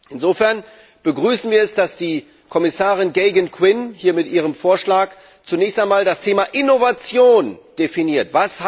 Insofern begrüßen wir es, dass Kommissarin Geoghegan Quinn hier mit ihrem Vorschlag zunächst einmal das Thema Innovation definiert.